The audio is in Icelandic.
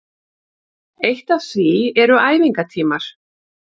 Eitt af því eru æfingatímar